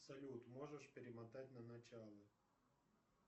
салют можешь перемотать на начало